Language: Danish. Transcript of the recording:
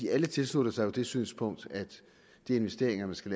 alle tilslutter sig jo det synspunkt at de investeringer man skal